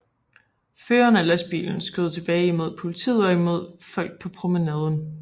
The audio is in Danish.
Føreren af lastbilen skød tilbage imod politiet og imod folk på promenaden